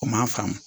O m'a faamu